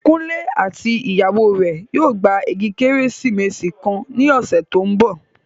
Kunle àti ìyàwó rẹ̀ yóò gba igi Kérésìmesì kan ní ọ̀sẹ̀ tó ń bọ̀